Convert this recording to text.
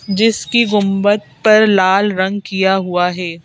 जिसकी गुंबद पर लाल रंग किया हुआ है।